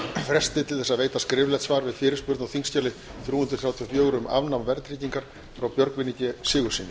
fresti til að veita skriflegt svar við fyrirspurn á þingskjali þrjú hundruð þrjátíu og fjögur um afnám verðtryggingar frá björgvini g sigurðssyni